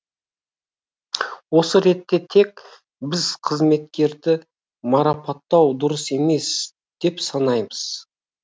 осы ретте тек біз қызметкерді марапаттау дұрыс емес деп санаймыз